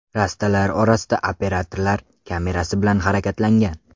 Rastalar orasida operatorlar kamerasi bilan harakatlangan.